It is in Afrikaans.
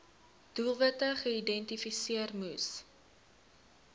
doelwitte geïdentifiseer moes